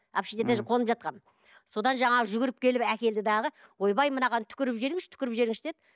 общежитиеде қонып жатқанмын содан жаңағы жүгіріп келіп әкелді дағы ойбай мынаған түкіріп жіберіңізші түкіріп жіберіңізші деді